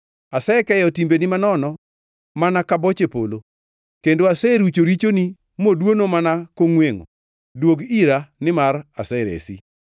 Asekeyo timbeni manono mana ka boche polo, kendo aserucho richogi modwono mana kongʼwengʼo. Duog ira, nimar aseresi.”